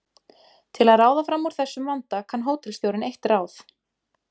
Til að ráða fram úr þessum vanda kann hótelstjórinn eitt ráð.